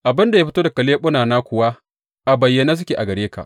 Abin da ya fito daga leɓunana kuwa, a bayyane suke gare ka.